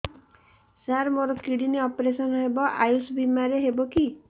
ସାର ମୋର kidney operation ହେବ ଆୟୁଷ ବିମାରେ ହେବ କି